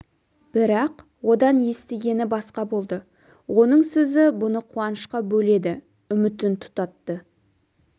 бірақ одан естігені басқа болды оның сөзі бұны қуанышқа бөледі үмітін тұтатты